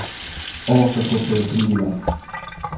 O, kako se je trudila!